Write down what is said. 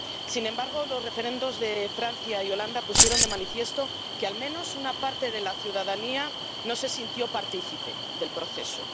Sin embargo, los referendos de Francia y Holanda pusieron de manifiesto que al menos una parte de la ciudadanía no se sintió partícipe del proceso.